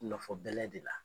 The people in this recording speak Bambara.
Nɔfɔ bɛlɛ de la